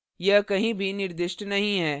यह कहीं भी निर्दिष्ट नहीं है